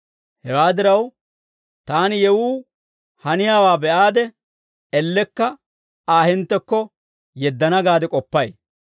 Hewaa diraw, taani yewuu haniyaawaa be'aade, ellekka Aa hinttekko yeddana gaade k'oppay.